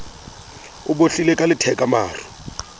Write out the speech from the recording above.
o bohlile ka letheka maru